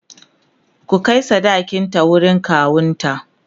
ku Kai sadakin ta wurin kawunta!